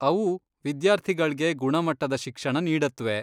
ಅವು ವಿದ್ಯಾರ್ಥಿಗಳ್ಗೆ ಗುಣಮಟ್ಟದ ಶಿಕ್ಷಣ ನೀಡತ್ವೆ.